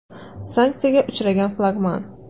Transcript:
Sanksiyaga uchragan flagman.